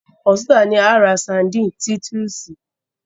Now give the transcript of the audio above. Ọ̀tunla ni a ó ra sandíìnì Titúsìì.